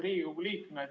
Head Riigikogu liikmed!